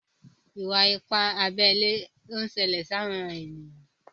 iwa-ipa abé ilé nṣele sí àwọn ènìyàn.